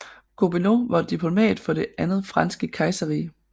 Gobineau var diplomat for det andet franske kejserrige